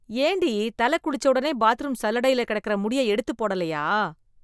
ஏண்டி, தலகுளிச்சொடனையே பாத்ரூம் சல்லடையில கெடக்குற முடிய எடுத்துப் போடலையா?